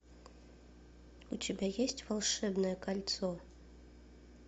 у тебя есть волшебное кольцо